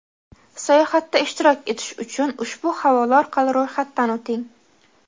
Sayohatda ishtirok etish uchun ushbu havola orqali ro‘yxatdan o‘ting.